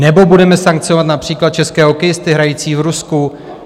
Nebo budeme sankcionovat například české hokejisty hrající v Rusku?